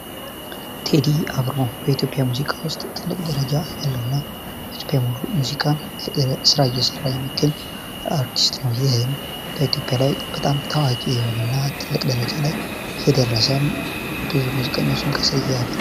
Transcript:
ቴዲ አፍሮ ከኢትዮጵያ ሙዚቀኞች ውስጥ ትልቅ ደረጃ ያለውና በኢትዬጵያ የሙዚቃ ኢንዱስትሪ እየሰራ የሚገኝ አርቲስት ነው እንግዲህ ትልቅ ደረጃ ላይ የደረሰ የትልቅ ሙዚቀኞች ማሳያ ነው።